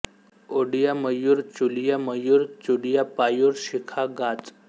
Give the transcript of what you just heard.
ओडिया मयूर चुलिया मयुर चुंडीया पायूर शिखा गाच